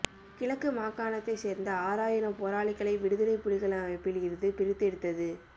கிழக்கு மாகாணத்தை சேர்ந்த ஆறாயிரம் போராளிகளை விடுதலை புலிகள் அமைப்பில் இருந்து பிரித்தெடுத்தது